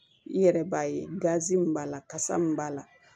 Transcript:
I yɛrɛ b'a ye gazi min b'a la kasa min b'a la